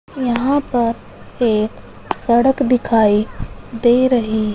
यहां पर एक सड़क दिखाई दे रही--